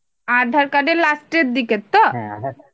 আধার card এর last এর দিকের তো?